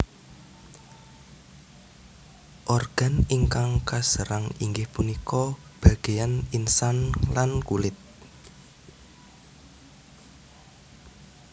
Organ ingkang kaserang inggih punika bagéyan insang lan kulit